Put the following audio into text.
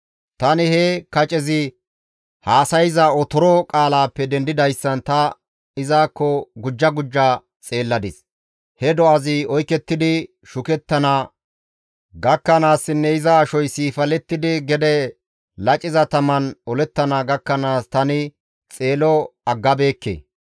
«Tani he kacezi haasayza otoro qaalappe dendidayssan ta izakko gujja gujja xeelladis; he do7azi oykettidi shukettana gakkanaassinne iza ashoy siifalettidi gede laciza taman olettana gakkanaas tani xeelo aggabeekke.